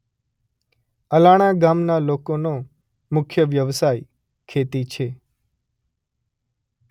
અલાણા ગામના લોકોનો મુખ્ય વ્યવસાય ખેતી છે.